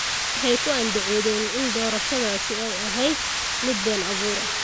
Waxay ku andacoodeen in doorashadaasi ay ahayd mid been abuur ah.